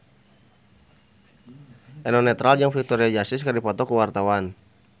Eno Netral jeung Victoria Justice keur dipoto ku wartawan